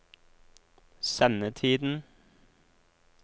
sendetiden